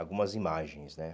Algumas imagens, né?